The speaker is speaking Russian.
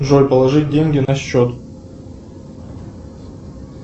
джой положить деньги на счет